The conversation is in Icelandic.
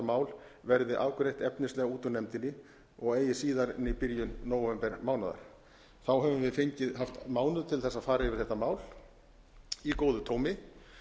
mál verði afgreitt efnislega út úr nefndinni og eigi síðar en í byrjun nóvembermánaðar þá höfum við haft mánuð til þess að fara yfir þetta mál í góðu tómi